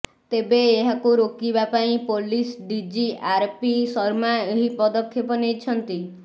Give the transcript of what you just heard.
ତେବେ ଏହାକୁ ରୋକିବା ପାଇଁ ପୋଲିସ ଡିଜି ଆରପି ଶର୍ମା ଏହି ପଦକ୍ଷେପ ନେଇଛନ୍ତି